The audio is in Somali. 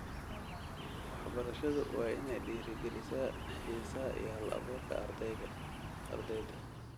Waxbarashadu waa inay dhiirigelisaa xiisaha iyo hal-abuurka ardayda.